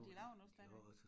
Og de laver nu stadigvæk